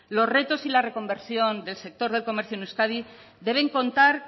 los retos y las reconversión del sector del comercio en euskadi deben contar